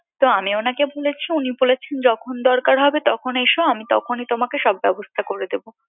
তো আমি উনাকে বলেছি উনি বলেছেন যখন দরকার হবে তখন এসো আমি তখনি তোমাকে সব ব্যবস্থা করে দেবো